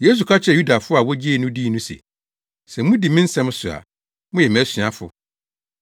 Yesu ka kyerɛɛ Yudafo a wogyee no dii no se, “Sɛ mudi me nsɛm so a, moyɛ mʼasuafo.